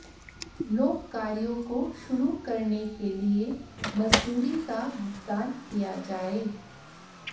लोक कार्यों को शुरू करने के लिए मजदूरी का भुगतान किया जाए